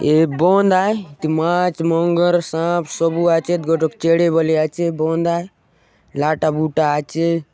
ये बांध आय इति माछ मगर सांप सबु आचेत गोटोक चैड़े बले आचे बंद आय लाटा बूटा आचे।